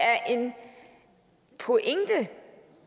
er en pointe